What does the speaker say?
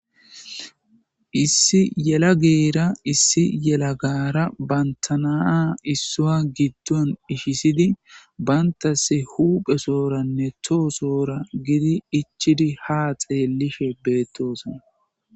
issi yelageeyira issi yela gara bantanaa issoa giddon ishisidi bantase huphesooranne toosoora gidi ichidi ha xeellishe beettoosona